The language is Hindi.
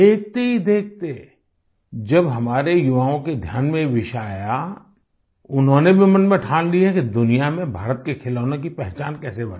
देखते ही देखते जब हमारे युवाओं के ध्यान में ये विषय आया उन्होंने भी मन में ठान लिया कि दुनिया में भारत के खिलौनों की पहचान कैसे बने